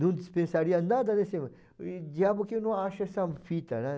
Não dispensaria nada desse... O diabo que eu não acho essa fita, né?